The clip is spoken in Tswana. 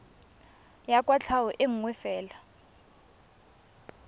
ya kwatlhao e nngwe fela